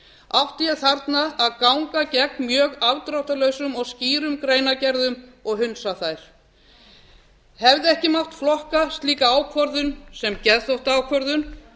átti ég þarna að ganga gegn mjög afdráttarlausum og skýrum greinargerðum og hundsa þær hefði ekki mátt flokka slíka ákvörðun sem geðþóttaákvörðun